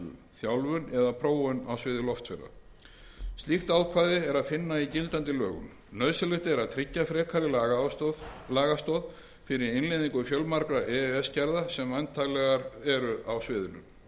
þjálfun eða prófun á sviði loftferða slíkt ákvæði er ekki að finna í gildandi lögum nauðsynlegt er að tryggja frekari lagastoð fyrir innleiðingu fjölmargra e e s gerða sem væntanlegar eru á sviðinu